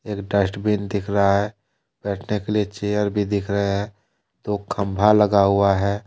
Dustbin दिख रहा है बैठने के लिए चयर भी दिख रहा है दो खम्बा लगा हुआ है।